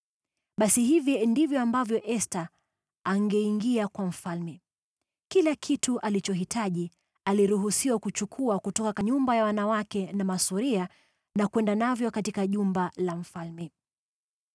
Basi hivi ndivyo ambavyo msichana angeingia kwa mfalme: Kila kitu alichohitaji aliruhusiwa kuchukua kutoka nyumba ya wanawake na kwenda navyo katika jumba la mfalme.